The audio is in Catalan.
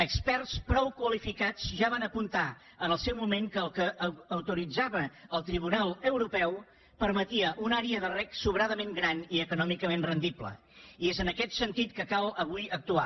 experts prou qualificats ja van apuntar en el seu moment que el que autoritzava el tribunal europeu permetia una àrea de reg sobradament gran i econòmicament rendible i és en aquest sentit que cal avui actuar